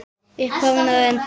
Upphaf og endi.